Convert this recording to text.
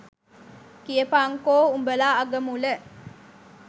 කියපන්කෝ උඹල අගමුල